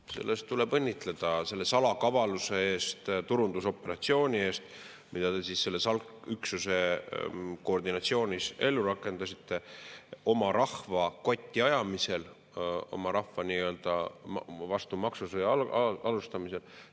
Selle eest tuleb õnnitleda, selle salakavaluse eest, turundusoperatsiooni eest, mida te selle SALK-üksuse koordineerimisel ellu rakendasite oma rahva kotti ajamisel, oma rahva vastu nii-öelda maksusõja alustamisel.